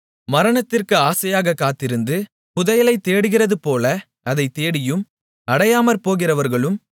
மரணத்திற்கு ஆசையாகக் காத்திருந்து புதையலைத் தேடுகிறதுபோல அதைத் தேடியும் அடையாமற்போகிறவர்களும்